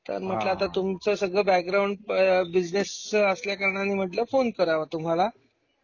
तर म्हंटल आता तुमच सगळ बॅकग्राउंड बिझनेस असल्या कारणाने म्हंटल फोन करावा तुम्हाला.